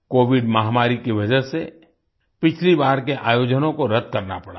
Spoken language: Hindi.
कोविड महामारी की वजह से पिछली बार के आयोजनों को रद्द करना पड़ा था